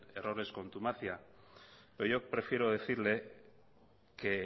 error es contumacia pero yo prefiero decirle que